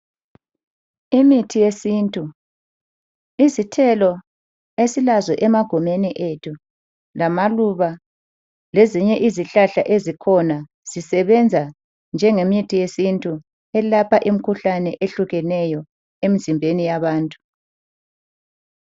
Imithi yesintu, izithelo esilazo emagumeni ethu lamaluba lezinye izihlahla ezikhona zisebenza njengemithi yesintu elapha imikhuhlane ehlukeneyo emizimbeni yabantu.